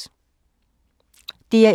DR1